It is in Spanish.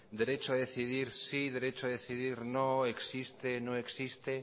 derecho a decidir sí derecho a decidir no existe no existe